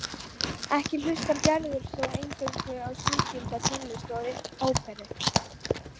Ekki hlustar Gerður þó eingöngu á sígilda tónlist og óperur.